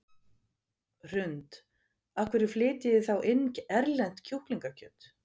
Hrund: Af hverju flytjið þið þá inn erlent kjúklingakjöt?